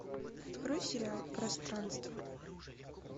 открой сериал пространство